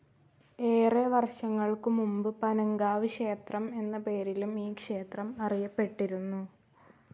ഏറെ വർഷങ്ങൾക്കു മുമ്പ് പനങ്കാവ് ക്ഷേത്രം എന്ന പേരിലും ഈ ക്ഷേത്രം അറിയപ്പെട്ടിരുന്നു.